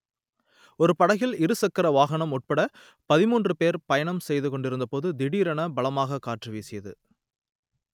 ஒரு படகில் இரு ச‌க்கர வாகன‌ம் உ‌ள்பட பதின்மூன்று பே‌ர் பயணம் செய்து கொண்டிருந்தபோது திடீரென பலமான காற்று வீசியது